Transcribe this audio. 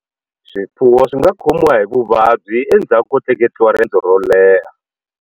Swifuwo swi nga khomiwa hi vuvabyi endzhaku ko tleketliwa rendzo ro leha.